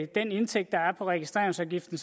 den indtægt der er på registreringsafgiften